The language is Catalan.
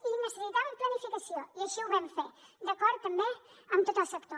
i necessitaven planificació i així ho vam fer d’acord també amb tot el sector